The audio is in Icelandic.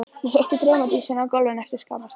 Ég hitti draumadísina á gólfinu eftir skamma stund.